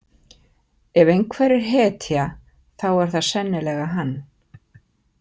Ef einhver er hetja þá er það sennilega hann.